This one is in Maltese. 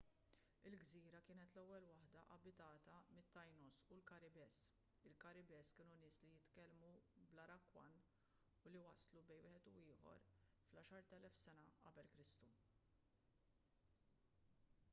il-gżira kienet l-ewwel waħda abitata mit-taínos u l-karibes. il-karibes kienu nies li jitkellmu bl-arawakan u li waslu bejn wieħed u ieħor fl-10,000 q.e.k